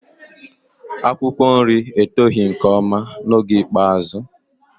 Akwụkwọ nri eto nke ọma n'oge ikpeazụ.